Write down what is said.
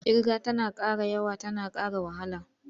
Ƙirga tana ƙara yawa tana ƙara wahala.